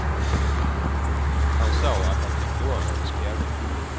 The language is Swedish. Han sa att han tyckte om hennes klänning.